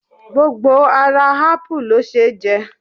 Gbogbo ara ápù ló ṣeé jẹ